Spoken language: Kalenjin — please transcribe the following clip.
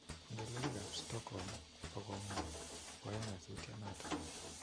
Ngelelik ap Stockholm kokamwa koya nyasutiet nato